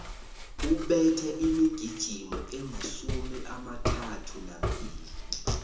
ubethe imigijimo emasumi amathathu nambili